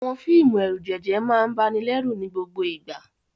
Àwọn fíìmù ẹ̀rùjẹ̀jẹ̀ máa ń banilẹ́rù ní gbogbo ìgbà.